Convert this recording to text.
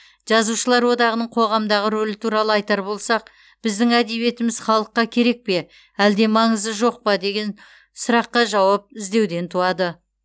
жазушылар одағының қоғамдағы рөлі туралы айтар болсақ біздің әдебиетіміз халыққа керек пе әлде маңызы жоқ па деген сұраққа жауап іздеуден туады